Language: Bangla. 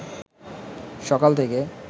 সকাল থেকে